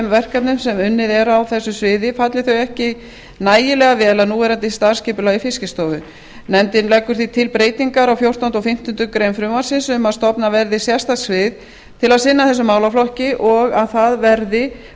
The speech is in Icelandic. verkefnum sem unnið er að á þessu sviði falli þau ekki nægilega vel að núverandi starfsskipulagi fiskistofu nefndin leggur því til breytingar á fjórtánda og fimmtándu greinar frumvarpsins í þá veru að stofnað verði sérstakt svið til að sinna þessum málaflokki og að það verði fært